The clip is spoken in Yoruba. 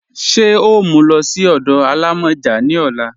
Ṣe o mú ú lọ sí ọdọ alámọ́jà ni ọ̀là?